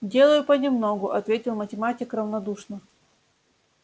делаю понемногу ответил математик равнодушно